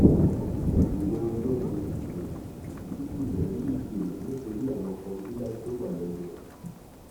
ìwẹ olómi um tútù rẹ rí ìdènà nítorí àwọn kọngílá tí ó wà lẹnu ọnà